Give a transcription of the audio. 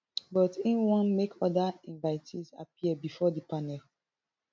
but im want make oda invitees appear bifor di panel